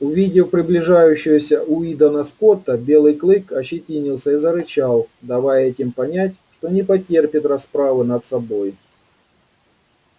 увидев приближающегося уидона скотта белый клык ощетинился и зарычал давая этим понять что не потерпит расправы над собой